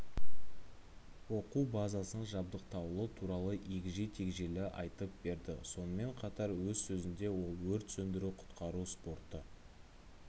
оқу базасын жабдықталуы туралы егжей-тегжейлі айтып берді сонымен қатар өз сөзінде ол өрт сөндіру-құтқару спорты